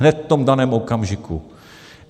Hned v tom daném okamžiku.